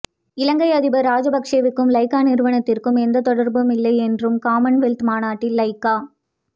இலங்கை அதிபர் ராஜபக்சேவுக்கும் லைக்கா நிறுவனத்துக்கும் எந்தத் தொடர்பும் இல்லை என்றும் காமன்வெல்த் மாநாட்டில் லைக்கா